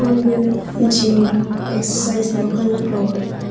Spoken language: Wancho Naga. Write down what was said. aga gym mraga exercise nukhang nyaklo ah.